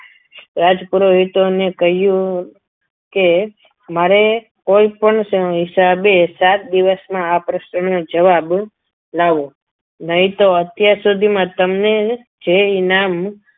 રાજ પુરોહિતોને કહ્યું કે મારે કોઈ પણ હિસાબે સાત દિવસમાં આ પ્રશ્નનો જવાબ લાવો નહીં તો અત્યાર સુધીમાં તમને જે ઇનામ